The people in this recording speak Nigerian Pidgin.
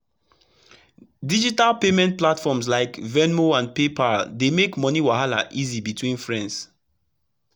digital payment platforms like venmo and paypal dey make money wahala easy between friends.